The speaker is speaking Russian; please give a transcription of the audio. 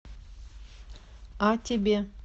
о тебе